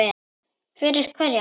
Fyrir hverja